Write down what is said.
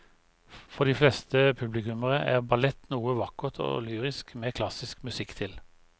For de fleste publikummere er ballett noe vakkert og lyrisk med klassisk musikk til.